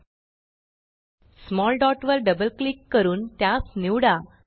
small dot लहान बिंदू वर डबल क्लिक करून त्यास निवडा